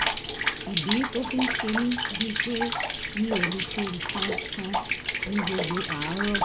ìdí tó fi ń ṣe mí bíi pé mi ò lè ṣe nǹkan kan ní gbogbo àárọ̀